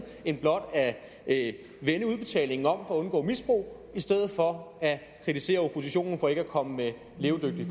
end blot at vende udbetalingen om for at undgå misbrug i stedet for at kritisere oppositionen for ikke at komme med levedygtige